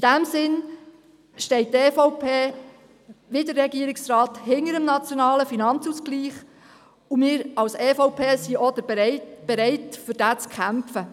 In diesem Sinn steht die EVP, wie der Regierungsrat, hinter dem NFA, und wir sind seitens der EVP auch bereit, dafür zu kämpfen.